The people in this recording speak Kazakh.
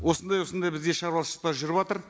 осыдай осындай бізде шаруашылықтар жүріватыр